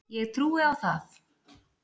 Ég trúi á það.